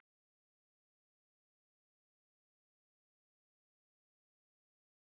Lengst af var talað um eldhúsinnréttingar, síðan um sólarlandaferðir og sólbrúnku.